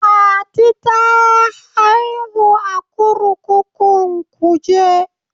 Fati ta haihu a kurkukun kuje.